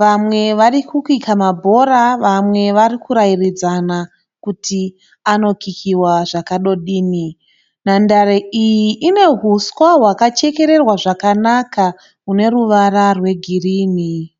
Vamwe varikukika mabhora vamwe vari kurairidzana kuti anokikiwa zvakadodini. Nhandare iri ine huswa hwakachekererwa zvakanaka une ruvara rwegirinhi.